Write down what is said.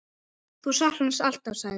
Þú saknar hans alltaf, sagði